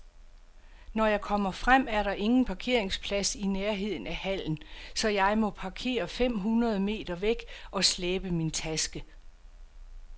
Når jeg kommer frem, er der ingen parkeringsplads i nærheden af hallen, så jeg må parkere fem hundrede meter væk og slæbe min taske.